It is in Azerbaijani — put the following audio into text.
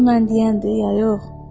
Gör mən deyəndir ya yox.